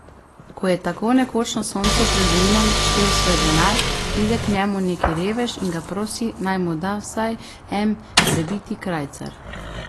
Ko je tako nekoč na soncu pred mlinom štel svoj denar, pride k njemu neki revež, in ga prosi, naj mu da vsaj en prebiti krajcar.